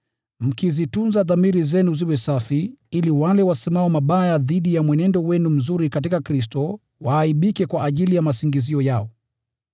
mkizitunza dhamiri zenu ziwe safi, ili wale wasemao mabaya dhidi ya mwenendo wenu mzuri katika Kristo waaibike kwa ajili ya masingizio yao.